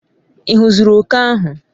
ighuziri oke ahu?